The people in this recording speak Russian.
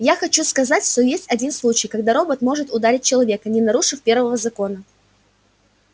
я хочу сказать что есть один случай когда робот может ударить человека не нарушив первого закона